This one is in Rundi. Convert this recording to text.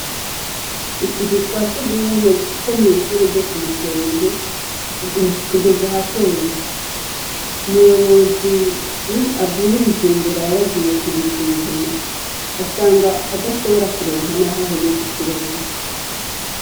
Utuzu twasugumwe two mw' ishure ryo kumukenke tugez’ahatemba, umuyobozi avuye i bujumbura yaragiye kudusuzuma asanga adashobora kuronka nah' ahonyoz' ikirenge.